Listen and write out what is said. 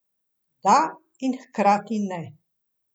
Da in hkrati ne.